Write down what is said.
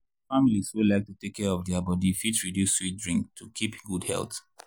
people wey like to take care of their body fit reduce sweet drink to keep good health.